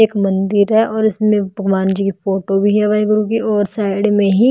एक मंदिर हैऔर इसमें भगवान जी की फोटो भी है वाहे गुरु की और साइड में ही--